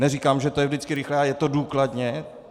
Neříkám, že to je vždycky rychlé, ale je to důkladně.